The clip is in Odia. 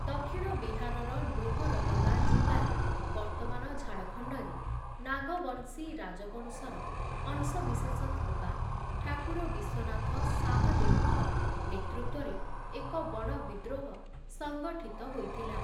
ଦକ୍ଷିଣ ବିହାରର ଲୋହରଦଗା ଜିଲ୍ଲାରେ ବର୍ତ୍ତମାନ ଝାଡ଼ଖଣ୍ଡରେ, ନାଗବଂଶୀ ରାଜବଂଶର ଅଂଶବିଶେଷ ଥିବା ଠାକୁର ବିଶ୍ୱନାଥ ଶାହଦେଓଙ୍କ ନେତୃତ୍ୱରେ ଏକ ବଡ଼ ବିଦ୍ରୋହ ସଙ୍ଗଠିତ ହୋଇଥିଲା ।